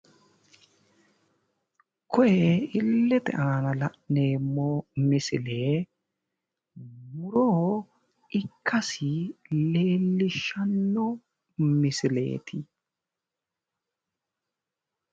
Kuni illete ana la'neemmo misile muro ikkasi leellishshanno misileeti